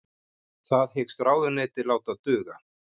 Það hyggst ráðuneytið láta duga